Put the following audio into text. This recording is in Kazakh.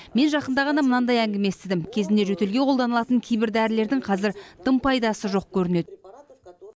мен жақында ғана мынандай әңгіме естідім кезінде жөтелге қолданылатын кейбір дәрілердің қазір дым пайдасы жоқ көрінеді